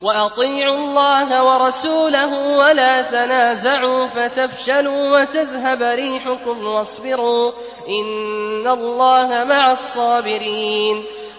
وَأَطِيعُوا اللَّهَ وَرَسُولَهُ وَلَا تَنَازَعُوا فَتَفْشَلُوا وَتَذْهَبَ رِيحُكُمْ ۖ وَاصْبِرُوا ۚ إِنَّ اللَّهَ مَعَ الصَّابِرِينَ